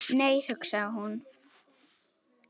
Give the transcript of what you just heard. Nei, hugsaði hún.